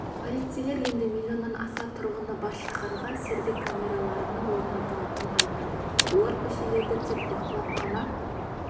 полицейлер енді миллионнан аса тұрғыны бар шаһарға сергек камераларының орнатылатынын айтады олар көшелерді тек бақылап қана